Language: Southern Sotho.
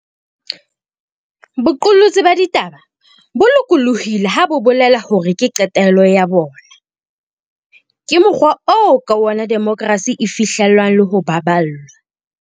Boqolotsi ba ditaba bo lokollohileng ha bo bolele hore ke qetello ya bona. Ke mokgwa oo ka ona demokrasi e fihlellwang le ho baballwa.